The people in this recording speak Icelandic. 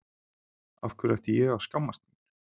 Af hverju ætti ég að skammast mín?